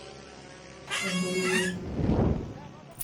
entoiwuoi sidai